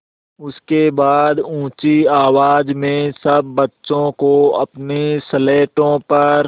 उसके बाद ऊँची आवाज़ में सब बच्चों को अपनी स्लेटों पर